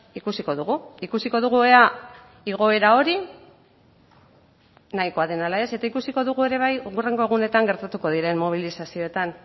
ikusiko dugu ikusiko dugu ea igoera hori nahikoa den ala ez eta ikusiko dugu ere bai hurrengo egunetan gertatuko diren mobilizazioetan